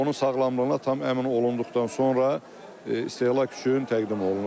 Onun sağlamlığına tam əmin olunduqdan sonra istehlak üçün təqdim olunur.